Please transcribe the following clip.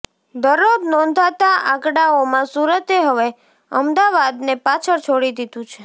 દરરોજ નોંધાતા આંકડાઓમાં સુરતે હવે અમદાવાદને પાછળ છોડી દીધું છે